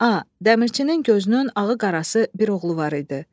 A, Dəmirçinin gözünün ağı qarası bir oğlu var idi.